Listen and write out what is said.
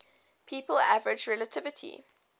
people average relatively